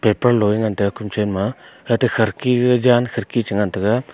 lo e ngan taiga kom chen ma hate kharidki jan kharidki che ngan taiga.